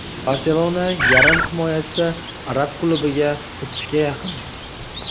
"Barselona" yarim himoyachisi arab klubiga o‘tishga yaqin.